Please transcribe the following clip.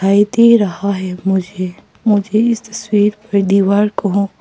भी दे रहा है मुझे मुझे इस तस्वीर पर दीवार को--